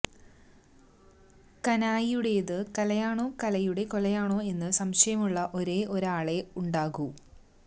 കാനായിയുടേത് കലയാണോ കലയുടെ കൊലയാണോ എന്ന് സംശയമുള്ള ഒരേ ഒരാളേ ഉണ്ടാകൂ